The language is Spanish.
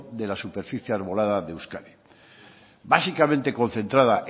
de la superficie arbolada de euskadi básicamente concentrada